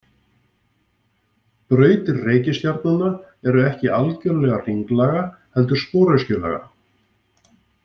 Brautir reikistjarnanna eru ekki algjörlega hringlaga heldur sporöskjulaga.